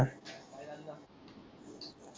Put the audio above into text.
काय चाल